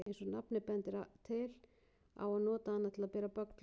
Eins og nafnið bendir til á að nota hana til að bera böggla.